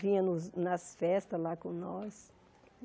Vinha nos nas festas lá com nós.